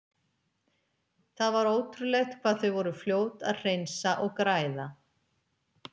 Það var ótrúlegt hvað þau voru fljót að hreinsa og græða.